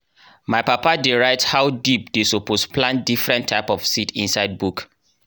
my papa dey write how deep dey suppose plant different type of seeds inside book.